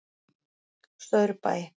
Saurbæ